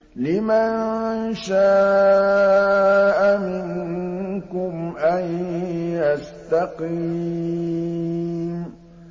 لِمَن شَاءَ مِنكُمْ أَن يَسْتَقِيمَ